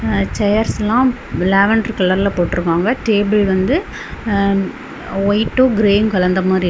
சேர்ஸ்ல lavender colour போட்டிருக்காங்க table வந்து ஒயிட்டும் கிரே கலந்த மாரி இருக்கு.